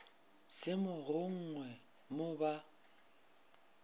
se mo gongwe mo ba